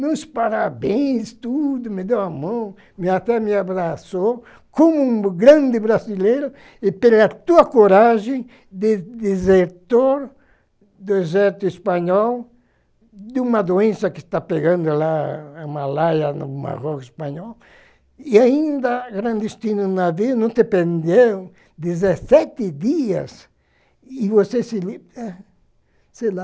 nos parabéns tudo, me deu a mão, e até me abraçou, como um grande brasileiro, e pela tua coragem de desertor do deserto espanhol, de uma doença que está pegando lá a Malária, no Marrocos espanhol, e ainda clandestino navio, não te prendeu, dezessete dias, e você se liberta, sei lá,